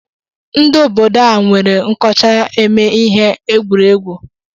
Ndi obodo a nwere nkọcha eme ihe egwuregwu.